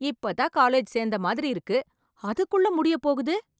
இப்பதான் காலேஜ் சேர்ந்த மாதிரி இருக்கு அதுக்குள்ள முடிய போகுது